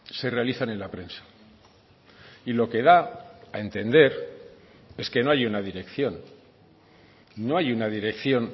se realizan en la prensa y lo que da a entender es que no hay una dirección no hay una dirección